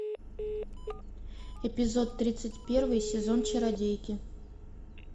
эпизод тридцать первый сезон чародейки